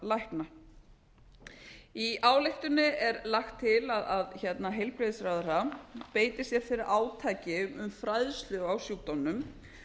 lækna í ályktuninni er lagt illa að heilbrigðisráðherra beiti sér fyrir átaki um fræðslu á sjúkdómnum